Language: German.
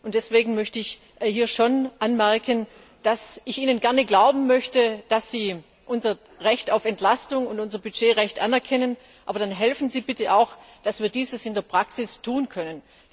Deswegen möchte ich hier schon anmerken, dass ich Ihnen gerne glauben möchte, dass Sie unser Recht auf Entlastung und unser Budgetrecht anerkennen, aber dann helfen Sie bitte auch, dass wir dies in der Praxis tun können.